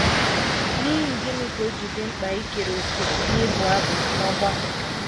N’ihi gịnị ka o ji dị mkpa ikere òkè n’ịbụ abụ n’ọgbakọ?